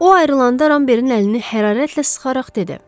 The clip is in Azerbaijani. O ayrılanda Rambertin əlini hərarətlə sıxaraq dedi: